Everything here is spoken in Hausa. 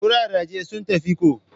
kuraraje sun tafi ko?